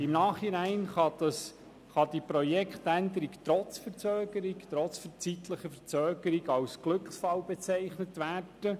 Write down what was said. Im Nachhinein kann die Projektänderung trotz zeitlicher Verzögerung als Glücksfall bezeichnet werden.